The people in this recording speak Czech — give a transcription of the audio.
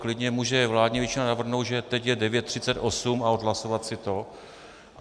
Klidně může vládní většina navrhnout, že teď je 9.38, a odhlasovat si to.